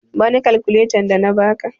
Bani kakuletan da na ba ka!